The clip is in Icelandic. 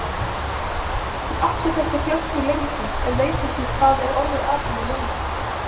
Ég átti þessa flösku lengi, en veit ekki hvað er orðið af henni núna.